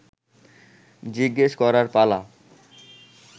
জিজ্ঞেস করার পালা